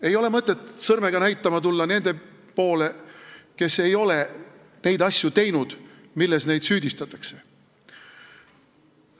Ei ole mõtet tulla sõrmega näitama nende poole, kes ei ole teinud neid asju, milles neid süüdistatakse.